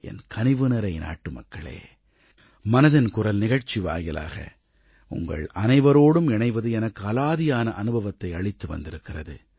என் கனிவுநிறை நாட்டுமக்களே மனதின் குரல் நிகழ்ச்சி வாயிலாக உங்கள் அனைவரோடும் இணைவது எனக்கு அலாதியான அனுபவத்தை அளித்து வந்திருக்கிறது